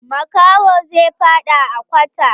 Makahon zai faɗa a kwata.